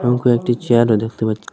এবং কয়েকটি চেয়ারও দেখতে পাচ্ছ--